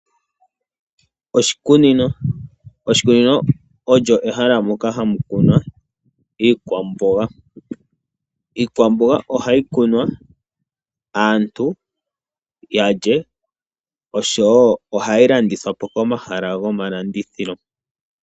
Oshikunino, oshikunino olyo ehala moka hamu kunwa iikwamboga. Iikwamboga ohayi kunwa aantu yalye oshowo ohayi landithwa po komahala gomalandithilo.